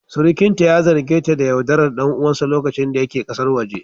Surukinta ya zarge ta da yaudarar ɗan uwansa lokacin da yake kasar waje